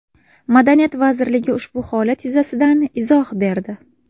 Madaniyat vazirligi ushbu holat yuzasidan izoh berdi .